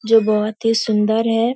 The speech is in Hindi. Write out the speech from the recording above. जो बहुत ही सुंदर है।